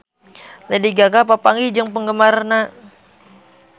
Lady Gaga papanggih jeung penggemarna